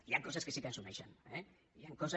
hi han coses que sí que ens uneixen eh hi han coses